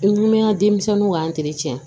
I kumi an ka denmisɛnninw ka